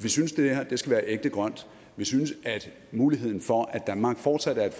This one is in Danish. vi synes det her skal være ægte grønt vi synes at muligheden for at danmark fortsat